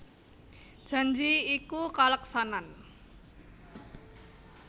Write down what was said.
Janji iku kaleksanan